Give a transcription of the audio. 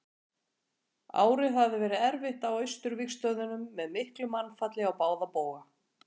árið hafði verið erfitt á austurvígstöðvunum með miklu mannfalli á báða bóga